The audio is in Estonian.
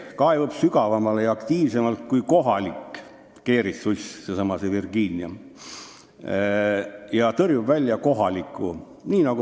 Seesama Virginia uss kaevub sügavamale ja aktiivsemalt kui kohalik keeritsuss ja tõrjub kohaliku välja.